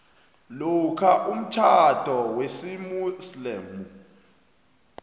lokha umtjhado wesimuslimu